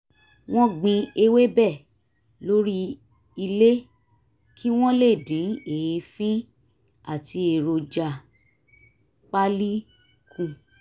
wọ́n gbin ewébẹ̀ lórí ilé kí wọ́n lè dín èéfín àti èròjà pálí kù